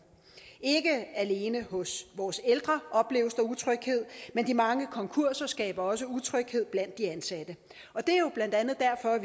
ikke alene hos vores ældre opleves der utryghed men de mange konkurser skaber også utryghed blandt de ansatte det er jo blandt andet derfor at